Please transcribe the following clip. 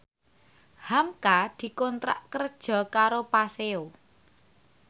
hamka dikontrak kerja karo Paseo